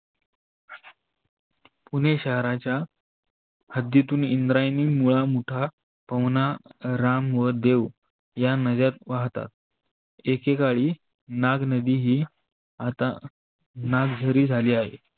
पुणे शहराच्या हद्दीतून इंद्रायनी, मुळा, मुठा, पहुना राम व देव या नव्यात वाहतात. एकेकाळी नाग नदी आता नागझारी झाली आहे.